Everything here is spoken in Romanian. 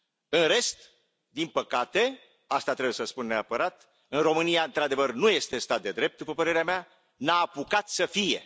În rest, din păcate, asta trebuie să spun neapărat, în România într adevăr nu este stat de drept, după părerea mea, nu a apucat să fie.